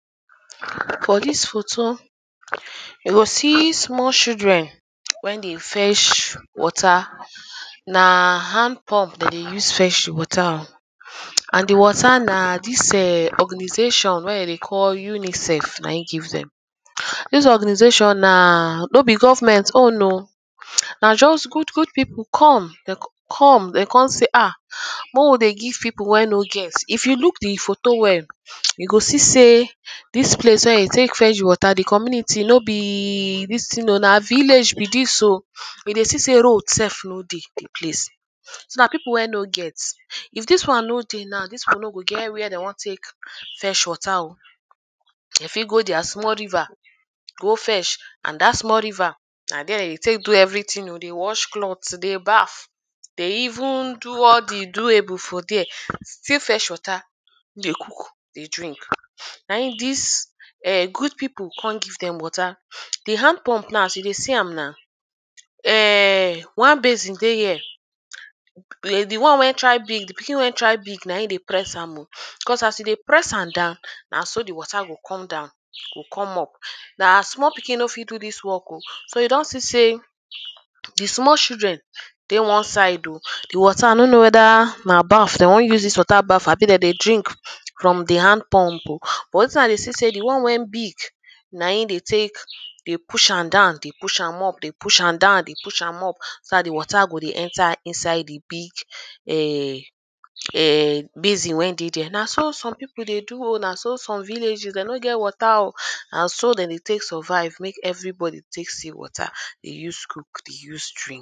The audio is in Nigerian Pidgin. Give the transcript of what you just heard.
For dis photo, you go see small children when they fetch water. Na hand pump dem dey use fetch water oh. And the water na dis erm organization wey dem dey call UNICEF na im give dem. Dis organization na no be government own oh. Na just good good people come, de con come de con say ha, make we dey give people wey no get. If you look the photo well, You go see sey dis place where de take fetch water, the community no be e dis thing oh. Na village be dis oh. You dey see sey road self no dey the place. So na people wey no get. If dis one no dey now, dis one no go get where de wan take fetch water oh. De fit go their small river go fetch and dat small river, na dere de dey take do everything oh. They wash cloth, they bath. They even do all the doable for dere still fetch water, dey cook dey drink. Na im dis ern good people con give dem water. The hand pump now, as you dey see am now Ern one basin dey here. The one wey try big, the pikin wey try big, na im dey press am oh. Cos as e dey press am down, na so the water dey come down, go come up. Na small pikin no fit do dis work oh. So you don see sey erm the small children dey one side oh. The water i no know whether na bath de wan use dis water bath abi de dey drink from the hand pump oh. Wetin i dey see sey the one wey big na im they take dey push am down, dey push am up dey push am down dey push am up. So dat the water go dey enter inside the big ern ern basin wey dey dere. Na so some people dey do oh. Na so some village oh, de no get water oh. Na so de dey take survive, make everybody take see water dey use cook, dey use drink.